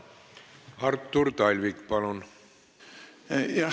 Artur Talvik, palun!